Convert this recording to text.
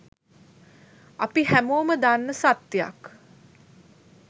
අපි හැමෝම දන්න සත්‍යයක්